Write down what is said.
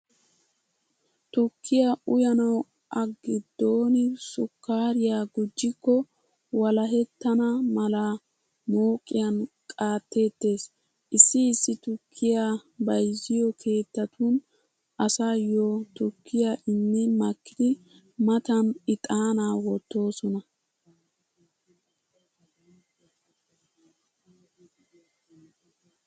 Tukkiyaa uyanawu a giddon sukkaariyaa gujjikko walahettana mala mooqiyan qaatteettees. Issi issi tukkiyaa bayziyo keettatun asaayyo tukkiyaa immi makkidi matan ixaanaa wottoosona.